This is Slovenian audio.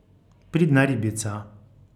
Pridna ribica.